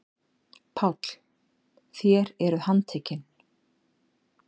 PÁLL: Þér eruð handtekin.